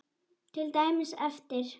Til dæmis eftir